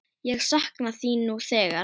Ég sakna þín nú þegar.